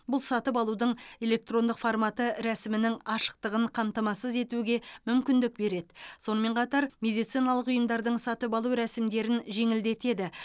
бұл сатып алудың электрондық форматы рәсімнің ашықтығын қамтамасыз етуге мүмкіндік береді сонымен қатар медициналық ұйымдардың сатып алу рәсімдерін жеңілдетеді